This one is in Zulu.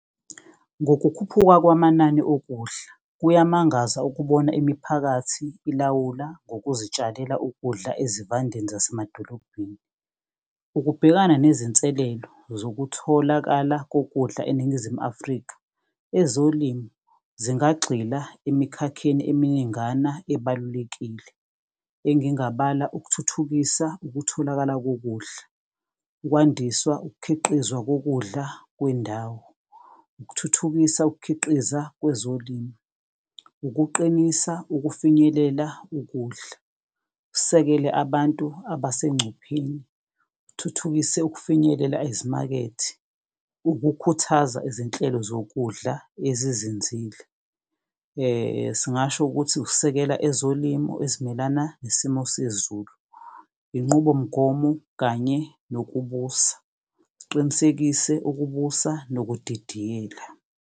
Ngokukhuphuka kwamanani okudla, kuyamangaza ukubona imiphakathi ilawula ngokuzitshalela ukudla ezivandeni zasemadolobheni. Ukubhekana nezinselelo zokutholakala kokudla eNingizimu Afrika, ezolimo zingagxila emikhakheni eminingana ebalulekile. Engingabala ukuthuthukisa ukutholakala kokudla, ukwandiswa ukukhiqizwa kokudla kwendawo. Ukuthuthukisa ukukhiqiza kwezolimo, ukuqinisa ukufinyelela ukudla, usekele abantu abasencupheni. Uthuthukise ukufinyelela ezimakethi, ukukhuthaza izinhlelo zokudla ezinzile. Singasho ukuthi ukusekela ezolimo ezimelana nesimo sezulu, inqubomgomo kanye nokubusa. Siqinisekise ukubusa nokudidiyela.